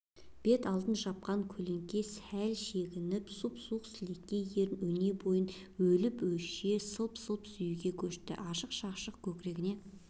бет алдын жапқан көлеңке сәл шегініп сұп-суық сілекей ерін өнебойын өліп-өше сылп-сылп сүюге көшті ашық-шашық көкірегіне